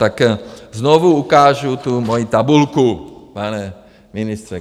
Tak znovu ukážu tu mojí tabulku, pane ministře.